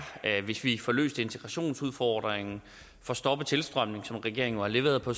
hvis vi får løst integrationsudfordringen og får stoppet tilstrømningen hvilket regeringen har leveret på